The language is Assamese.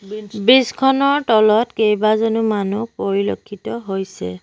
ব্ৰিজ খনৰ তলত কেবাজনো মানুহ পৰিলক্ষিত হৈছে।